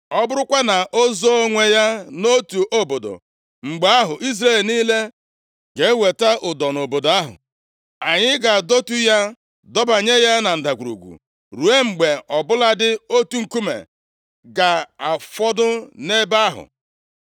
Ọ bụrụkwa na o zoo onwe ya nʼotu obodo, mgbe ahụ Izrel niile ga-eweta ụdọ nʼobodo ahụ, anyị ga-adọtu ya dọbanye ya na ndagwurugwu, ruo mgbe ọ bụladị otu nkume ga-afọdụ nʼebe ahụ.”